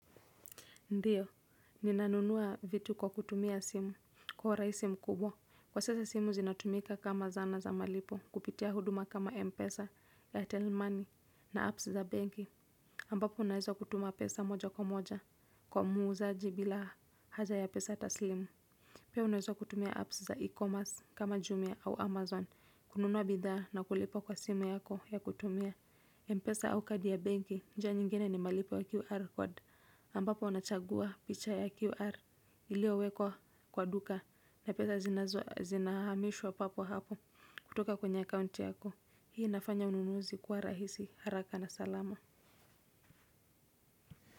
Ndiyo, ninanunua vitu kwa kutumia simu, kwa urahisi simu mkubwa. Kwa sasa simu zinatumika kama zana za malipo, kupitia huduma kama Mpesa, airtel money na apps za benki. Ambapo unaweza kutuma pesa moja kwa moja, kwa muuzaji bila haja ya pesa taslimu. Pia unaweza kutumia apps za e-commerce kama Jumia au amazon, kununua bidhaa na kulipa kwa simu yako ya kutumia Mpesa au kadi ya benki, njia nyingine ni malipo ya QR code. Ambapo unachagua picha ya QR iliyowekwa kwa duka na pesa zinahamishwa papo hapo kutoka kwenye account yako. Hii inafanya ununuzi kwa rahisi haraka na salama.